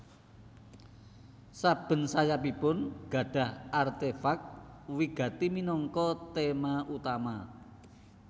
Saben sayapipun gadhah artefak wigati minangka tema utama